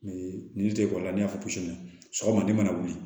Ni n'i y'a fɔ sɔgɔma ni mana wuli